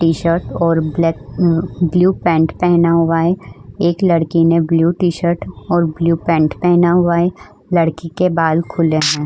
T-shirt और black blue pant पहना हुआ है। एक लड़की ने ब्लू टी-शर्ट और ब्लू पैन्ट पहना हुआ है। लड़की के बाल खुले हैं।